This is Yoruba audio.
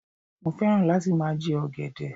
Mo fẹ́ràn láti máa jẹ ọ̀gẹ̀dẹ̀